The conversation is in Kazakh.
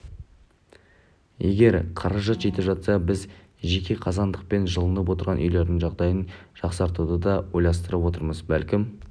егер қаражат жетіп жатса біз жеке қазандықпен жылынып отырған үйлердің жағдайын жақсартуды да ойластырып отырмыз бәлкім